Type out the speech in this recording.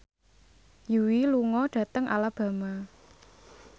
Yui lunga dhateng Alabama